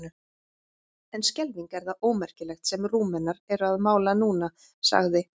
En skelfing er það ómerkilegt sem Rúmenar eru að mála núna, sagði